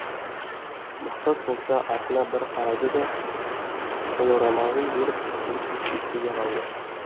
мақсат болса артына бір қарады да қолорамалын беріп үнсіз кетті де қалды